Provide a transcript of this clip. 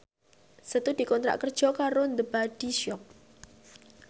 Setu dikontrak kerja karo The Body Shop